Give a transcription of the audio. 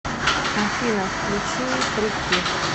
афина включи трики